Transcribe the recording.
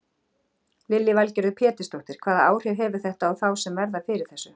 Lillý Valgerður Pétursdóttir: Hvaða áhrif hefur þetta á þá sem verða fyrir þessu?